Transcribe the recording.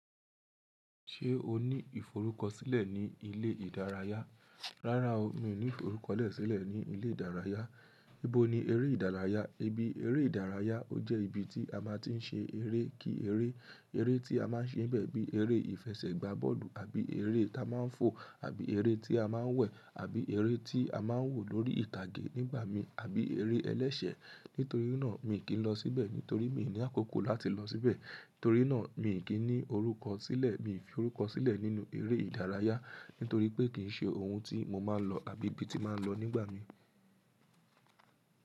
Ṣé o ní ìforúkọ̀sílẹ̀ ní ilé ìdárayá? Rárá o, mi ò ní ìforúkọ̀sílẹ̀ ní ilé ìdárayá. Níbo ni eré ìdárayá? Eré ìdárayá ọ jẹ́ ibi tí a máa ti ń ṣe eré kí eré. Eré tí a máa ń ṣe nibẹ́ẹ̀ bí eré ìfẹsẹ̀gbà bọ́ọ̀lù àbí eré ta máa ń fò àbí eré tí a máa ń wẹ̀ àbí eré tí a máa ń wò lórí ìtàgé nígbàmi àbí eré ẹlẹ́ṣẹ̀. Nítorí náà, mi kì n lọ síbẹ̀ nítorí mi ò ní àkókò láti lọ síbẹ̀. Torí náà, mi kì n ní orúkọ̀sílẹ̀. Mi ò fi orúkọ̀sílẹ̀ nínú eré ìdárayá nítorí pé kì í ṣe ohun tí mo máa ń lọ àbí ibi tí màá ń lọ nígbà mi.